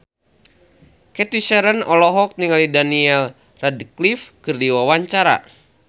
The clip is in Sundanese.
Cathy Sharon olohok ningali Daniel Radcliffe keur diwawancara